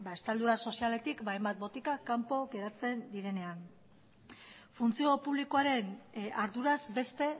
estaldura sozialetik hainbat botika kanpo geratzen direnean funtzio publikoaren arduraz beste